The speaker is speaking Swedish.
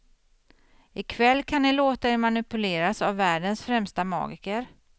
Ikväll kan ni låta er manipuleras av världens främsta magiker.